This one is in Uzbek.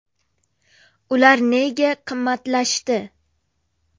Ular nega qimmatlashdi?.